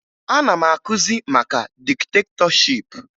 Ana m akụzi maka diktetọship